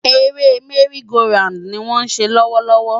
Eré merry-go-round ni wọ́n ń ṣe lọ́wọ́ lọ́wọ́.